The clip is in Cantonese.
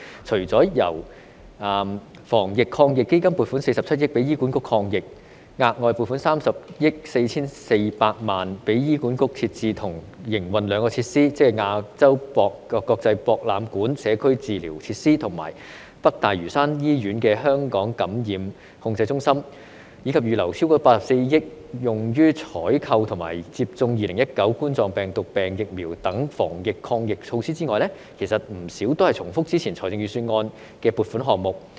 除了由防疫抗疫基金撥款47億元給醫管局抗疫，額外撥款30億 4,400 萬元給醫管局設置和營運兩個設施，即亞洲國際博覽館社區治療設施和北大嶼山醫院香港感染控制中心，以及預留超過84億元用於採購和接種2019冠狀病毒病疫苗等防疫抗疫措施外，其實不少都是重複之前預算案的撥款項目。